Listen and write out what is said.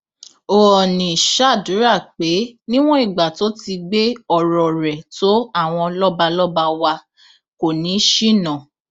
oọnì ṣàdúrà pé níwọn ìgbà tó ti gbé ọrọ rẹ tó àwọn lọbalọba wa kò ní í ṣìnà